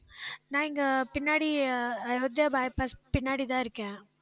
நான் இங்க பின்னாடி அஹ் by pass பின்னாடிதான் இருக்கேன்